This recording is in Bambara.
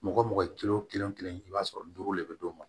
Mɔgɔ mɔgɔ ye kelen o kelen i b'a sɔrɔ duuru de bɛ d'o ma